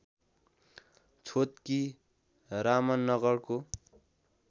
छोतकी रामनगरको